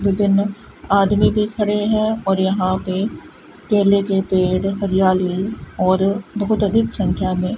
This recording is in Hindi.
दो तीन आदमी भी खड़े हैं और यहां पे केले के पेड़ हरियाली और बहुत अधिक संख्या में--